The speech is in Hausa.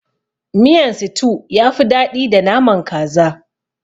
Miyan situ yafi daɗi da naman kaza.